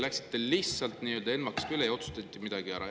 … läksid lihtsalt ENMAK-ist mööda ja otsustasid midagi ära.